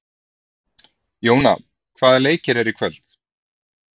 Jóna, hvaða leikir eru í kvöld?